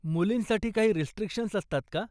मुलींसाठी काही रिस्ट्रिक्शन्स असतात का?